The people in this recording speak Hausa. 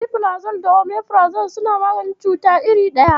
Rabefirazol da Omefirazol suna maganin cuta iri ɗaya.